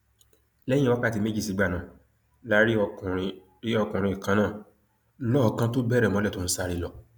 lẹyìn wákàtí méjì sígbà náà la rí ọkùnrin rí ọkùnrin kan náà lọọọkán tó bẹrẹ mọlẹ tó ń sáré lọ